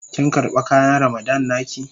Kin karba kayan Ramadan na ki?